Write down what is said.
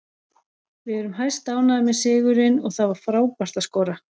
Við erum hæstánægðir með sigurinn og það var frábært að skora.